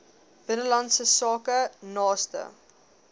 binnelandse sake naaste